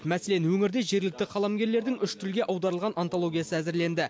мәселен өңірде жергілікті қаламгерлердің үш тілге аударылған антологиясы әзірленді